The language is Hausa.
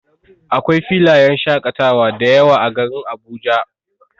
Akwai filayen shaƙatawa dayawa a garin Abuja.